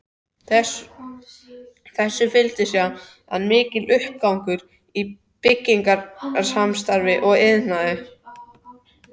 Þessu fylgdi síðan mikill uppgangur í byggingarstarfsemi og iðnaði.